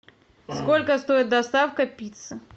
сколько стоит доставка пиццы